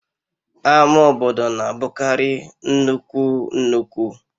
Ama obodo na-abụkarị nnukwu nnukwu